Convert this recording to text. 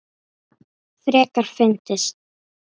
Frekar fyndið!